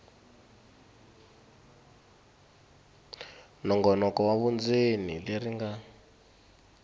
nongonoko wa vundzeni leri nga